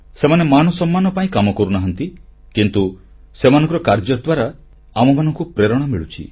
ସେମାନେ ମାନସମ୍ମାନ ପାଇଁ କାମ କରୁନାହାନ୍ତି କିନ୍ତୁ ସେମାନଙ୍କର କାର୍ଯ୍ୟ ଦ୍ୱାରା ଆମମାନଙ୍କୁ ପ୍ରେରଣା ମିଳୁଛି